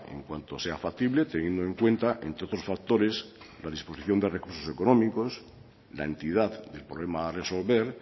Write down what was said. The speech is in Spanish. en cuanto sea factible teniendo en cuenta entre otros factores la disposición de recursos económicos la entidad del problema a resolver